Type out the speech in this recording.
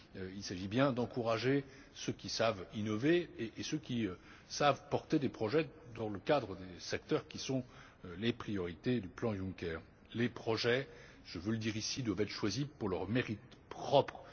Il s'agit bien d'encourager ceux qui savent innover et ceux qui savent porter des projets dans le cadre des secteurs qui sont les priorités du plan Juncker. Les projets, je veux le dire ici, doivent être choisis pour leurs mérites propres.